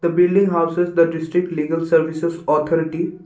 building houses the district legal services authority.